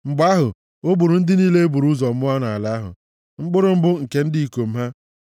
Mgbe ahụ, o gburu ndị niile e buru ụzọ mụọ nʼala ahụ, mkpụrụ mbụ nke ndị ikom ha.